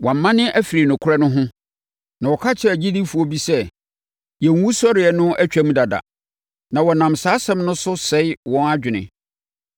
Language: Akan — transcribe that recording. Wɔamane afiri nokorɛ no ho na wɔka kyerɛ agyidifoɔ bi sɛ, yɛn wusɔreɛ no atwam dada, na wɔnam saa asɛm no so sɛe wɔn adwene.